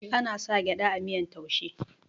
ana sa gyada a miyar taushe